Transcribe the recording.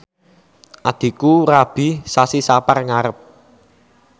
adhiku rabi sasi Sapar ngarep